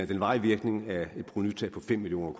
den varige virkning er et provenutab på fem million